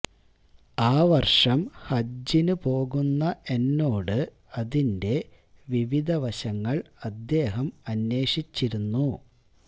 ആ വര്ഷം ഹജ്ജിന് പോകുന്ന എന്നോട് അതിന്റെ വിവിധ വശങ്ങള് അദ്ദേഹം അന്വേഷിച്ചിരുന്നു